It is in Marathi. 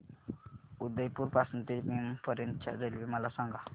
उदयपुर पासून ते नीमच पर्यंत च्या रेल्वे मला सांगा